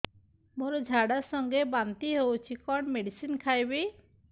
ମୋର ଝାଡା ସଂଗେ ବାନ୍ତି ହଉଚି କଣ ମେଡିସିନ ଖାଇବି